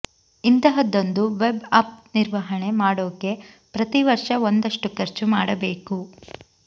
ಇಂಥಹದ್ದೊಂದು web app ನಿರ್ವಹಣೆ ಮಾಡೋಕೆ ಪ್ರತಿ ವರ್ಷ ಒಂದಷ್ಟು ಖರ್ಚು ಮಾಡಬೇಕು